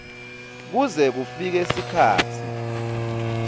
kuze kufike sikhatsi